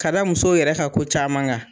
Ka da musow yɛrɛ ka ko caman kan.